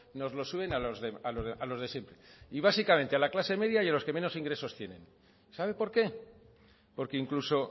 nos lo suben a los de siempre y básicamente a la clase media y a los que menos ingresos tienen sabe por qué porque incluso